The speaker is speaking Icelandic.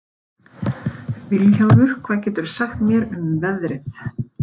Vilhjálmur, hvað geturðu sagt mér um veðrið?